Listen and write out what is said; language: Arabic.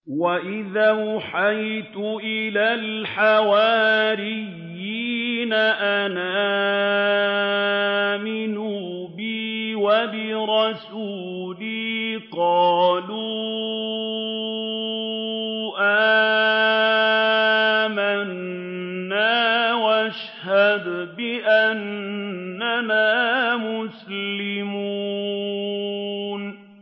وَإِذْ أَوْحَيْتُ إِلَى الْحَوَارِيِّينَ أَنْ آمِنُوا بِي وَبِرَسُولِي قَالُوا آمَنَّا وَاشْهَدْ بِأَنَّنَا مُسْلِمُونَ